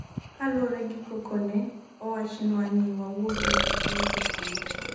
kaluwore gi koko ne owachnwa ni wawuog e sikul seche go